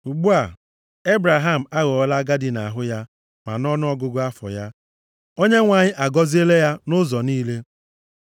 Ugbu a, Ebraham aghọọla agadi nʼahụ ya ma nʼọnụọgụgụ afọ ya. Onyenwe anyị agọziela ya nʼụzọ niile